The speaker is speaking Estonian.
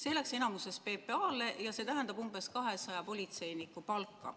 See tuli enamuses PPA-lt ja see tähendab umbes 200 politseiniku palka.